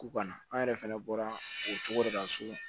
U ka na an yɛrɛ fɛnɛ bɔra o cogo de la so